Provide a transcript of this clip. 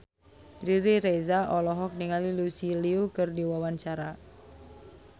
Riri Reza olohok ningali Lucy Liu keur diwawancara